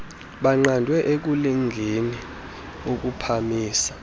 baqandwe ekulingeni ukuphamisa